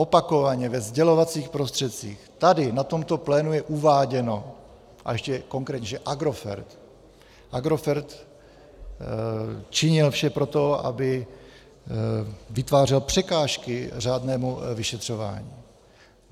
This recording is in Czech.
Opakovaně ve sdělovacích prostředcích, tady na tomto plénu je uváděno, a ještě konkrétně, že Agrofert, Agrofert činil vše pro to, aby vytvářel překážky řádnému vyšetřování.